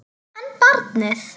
En barnið?